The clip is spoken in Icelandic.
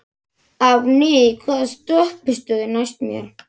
Árný, hvaða stoppistöð er næst mér?